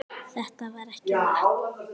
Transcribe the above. Þetta er ekki vatn!